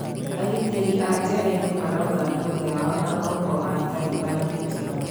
Agitiri aajeraĩnĩ maraugan ndũgũ yao na ohwo aTaliban nĩ mega.